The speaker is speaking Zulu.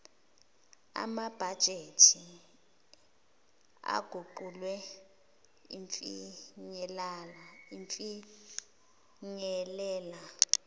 amabhajethi aguquliwe afinyelela